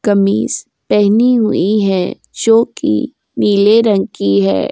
कमीज़ पहनी हुई है जोकि नीले रंग की है।